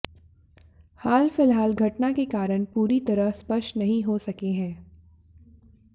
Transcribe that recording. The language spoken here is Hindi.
हाल फिलहाल घटना के कारण पूरी तरह स्पष्ट नहीं हो सके हैं